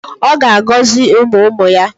Ọ ga-agọzi ụmụ ụmụ ya.